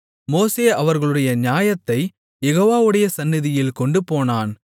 மோசே அவர்களுடைய நியாயத்தைக் யெகோவாவுடைய சந்நிதியில் கொண்டு போனான்